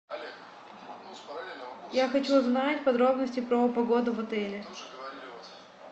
я хочу узнать подробности про погоду в отеле